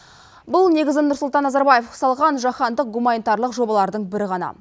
бұл негізін нұрсұлтан назарбаев салған жаһандық гуманитарлық жобалардың бірі ғана